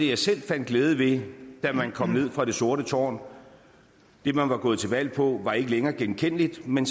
jeg selv fandt glæde ved da man kom ned fra det sorte tårn det man var gået til valg på var ikke længere genkendeligt men